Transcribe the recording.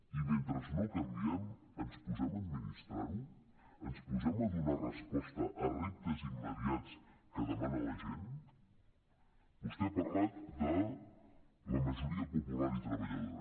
i mentre no canviem ens posem a administrar ho ens posem a donar resposta a reptes immediats que demana la gent vostè ha parlat de la majoria popular i treballadora